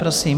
Prosím.